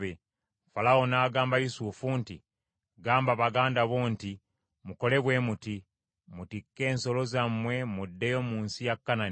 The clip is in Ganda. Falaawo n’agamba Yusufu nti, “Gamba baganda bo nti, ‘Mukole bwe muti: mutikke ensolo zammwe muddeyo mu nsi ya Kanani,